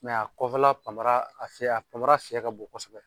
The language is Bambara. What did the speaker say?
a kɔfɛla panpara a sen a panpara sen ka bon kosɛbɛ.